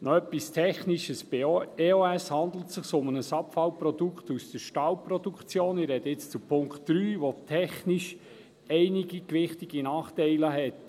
Noch etwas Technisches zum Punkt 3: Bei EOS handelt es sich um ein Abfallprodukt aus der Stahlproduktion, welches technisch einige gewichtige Nachteile hat.